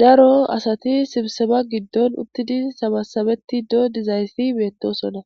daro asati sibseba giddon uttidi sabasabeti doo dizaayssi meettosona